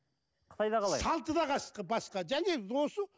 қытайда қалай салты да басқа және осы